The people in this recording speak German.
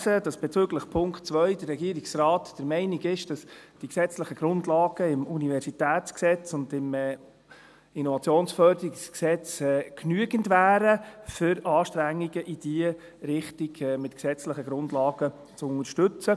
Ich habe gelesen, dass der Regierungsrat bezüglich des Punkts 2 der Meinung ist, dass das Gesetz über die Universität (UniG) und das Innovationsförderungsgesetz (IFG) genügen würden, um Anstrengungen in diese Richtung auf gesetzlicher Grundlage zu unterstützen.